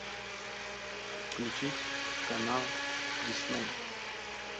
включить канал дисней